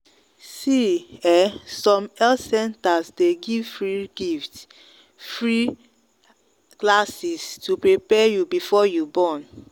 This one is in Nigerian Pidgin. see ehnsome health centers day give free give free classes to prepare you before you born.